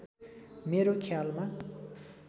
मेरो ख्यालमा